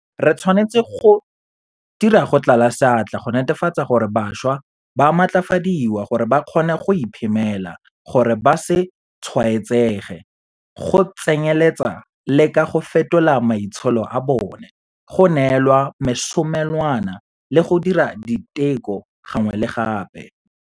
Re tshwanetse go dira go tlala seatla go netefatsa gore bašwa ba matlafadiwa gore ba kgone go iphemela gore ba se tshwaetsege, go tsenyeletsa le ka go fetola maitsholo a bona, go neelwa mesomelwana le go dira diteko gangwe le gape.